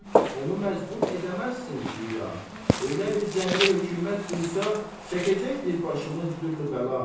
Onu məcbur edəməzsin zira, belə bir cəbri hökümət duysa, çəkəcəkdir başımız dürlü bəla.